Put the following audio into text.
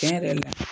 Tiɲɛ yɛrɛ la